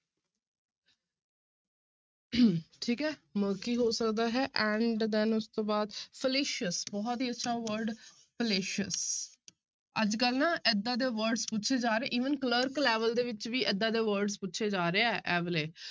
ਠੀਕ ਹੈ murky ਹੋ ਸਕਦਾ ਹੈ and then ਉਸ ਤੋਂ ਬਾਅਦ fallacious ਬਹੁਤ ਹੀ ਅੱਛਾ word fallacious ਅੱਜ ਕੱਲ੍ਹ ਨਾ ਏਦਾਂ ਦੇ words ਪੁੱਛੇ ਜਾ ਰਹੇ even ਕਲਰਕ level ਦੇ ਵਿੱਚ ਵੀ ਏਦਾਂ ਦੇ words ਪੁੱਛੇ ਜਾ ਰਹੇ ਹੈ ਇਹ ਵਾਲੇ।